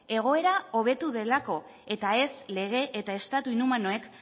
egoera hobetu delako eta ez lege eta estatu inhumanoek